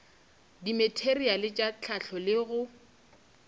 dimateriale tša hlahlo le go